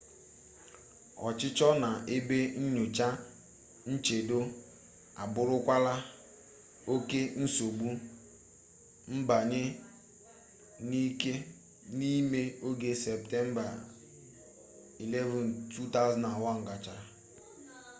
ọchịchọ na ebe nyocha nchedo abụrụkwala oke nsogbu mbanye n'ike n'ime oge septemba 11 2001 gachara